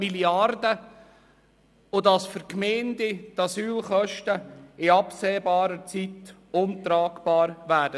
Die Asylkosten für die Gemeinden werden in absehbarer Zeit untragbar sein.